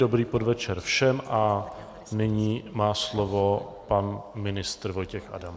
Dobrý podvečer všem a nyní má slovo pan ministr Vojtěch Adam.